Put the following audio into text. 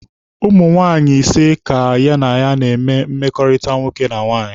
Ụmụ nwaanyị ise ka ya na ha na-eme mmekọrịta nwoke na nwaanyị.